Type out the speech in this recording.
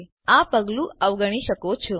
તો તમે આ પગલું અવગણી શકો છો